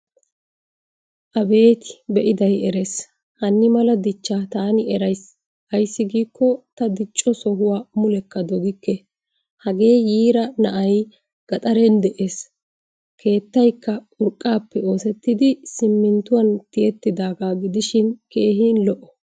Abeeti beiday erees. Hanimala dichcha tani eraysi. Ayssi gikko ta dicco sohuwaa mullekka doggikke. Hagee yiiraa na"ay gaxaren de"ees. Keettaykka urqqappe oosettidi siminttuwan tiyettidaga gidishin keehin lo"o.